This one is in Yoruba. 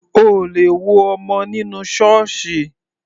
O ò lè wo ọmọ nínú Ṣọọṣi